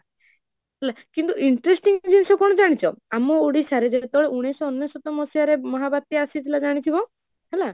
ହେଲା କିନ୍ତୁ interesting ଜିନିଷ କଣ ଜାଣିଛ, ଆମ ଓଡ଼ିଶାରେ ଯେତେବେଳେ ଉଣେଇସହ ଅନେଶତ ମସିହାରେ ମହାବାତ୍ୟା ଆସିଥିଲା ଜାଣିଥିବା, ହେଲା?